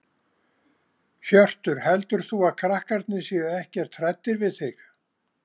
Hjörtur: Heldur þú að krakkarnir séu ekkert hræddir við þig?